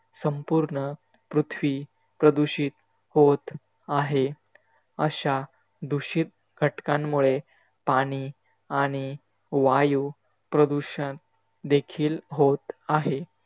संपूर्ण पृथ्वी प्रदूषित होत आहे. अशा दुषित घटकांमुळे पाणी आणि वायू प्रदूषण देखील होत आहे.